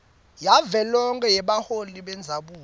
yavelonkhe yebaholi bendzabuko